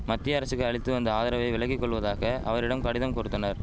மத்திய அரசுக்கு அளித்து வந்த ஆதரவை விலக்கி கொள்வதாக அவரிடம் கடிதம் கொடுத்தனர்